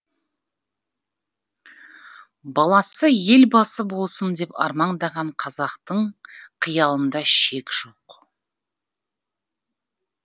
баласы елбасы болсын деп армандаған қазақтың қиялында шек жоқ